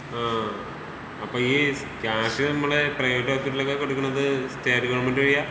ആഹ്. അപ്പൊ ഈ ക്യാഷ് നമ്മടേ പ്രൈവറ്റ് ഹോസ്പിറ്റലിലൊക്കെ കൊടുക്കുന്നത് സ്റ്റേറ്റ് ഗവണ്മെന്റ് വഴിയാ?